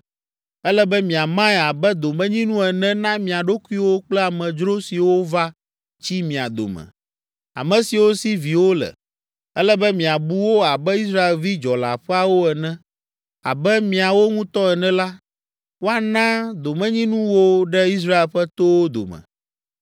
Ele be miamae abe domenyinu ene na mia ɖokuiwo kple amedzro siwo va tsi mia dome, ame siwo si viwo le. Ele be miabu wo abe Israelvi dzɔleaƒeawo ene. Abe miawo ŋutɔ ene la, woana domenyinu wo ɖe Israel ƒe towo dome.